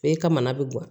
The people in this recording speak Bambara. E ka mana bɛ guwan